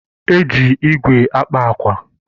Eji ígwè akpa àkwà